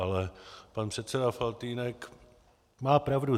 Ale pan předseda Faltýnek má pravdu.